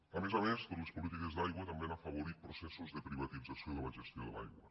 a més a més les polítiques d’aigua també han afavorit processos de privatització de la gestió de l’aigua